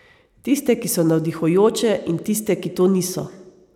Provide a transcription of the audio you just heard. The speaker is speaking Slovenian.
Tiste, ki so navdihujoče, in tiste, ki to niso.